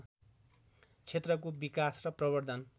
क्षेत्रको विकास र प्रबर्द्धन